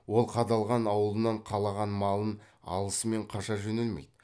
ол қадалған аулынан қалаған малын алысымен қаша жөнелмейді